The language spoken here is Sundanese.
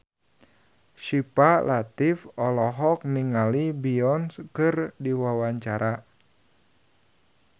Syifa Latief olohok ningali Beyonce keur diwawancara